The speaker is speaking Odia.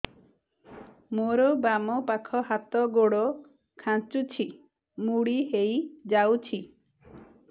ମୋର ବାମ ପାଖ ହାତ ଗୋଡ ଖାଁଚୁଛି ମୁଡି ହେଇ ଯାଉଛି